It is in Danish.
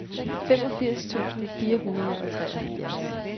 femogfirs tusind fire hundrede og treoghalvfjerds